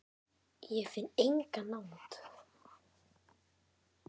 Ég finn enga nánd.